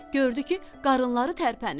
Gördü ki, qarınları tərpənir.